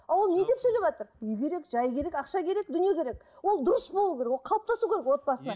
а ол неге сөйлеватыр үй керек жай керек ақша керек дүние керек ол дұрыс болу керек ол қалыптасу керек отбасына